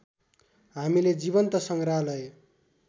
हामीले जीवन्त सङ्ग्रहालय